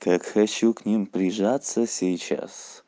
так хочу к ним прижаться сейчас